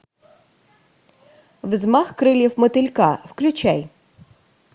взмах крыльев мотылька включай